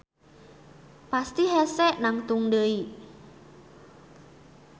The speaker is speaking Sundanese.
Pasti hese nangtung deui.